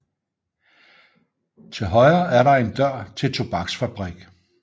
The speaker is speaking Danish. Til højre er der en dør til tobaksfabrik